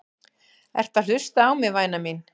Ertu að hlusta á mig, væna mín?